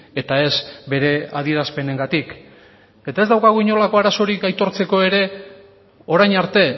eta ez bere adierazpenengatik eta ez daukagu inolako arazorik aitortzeko ere orain arte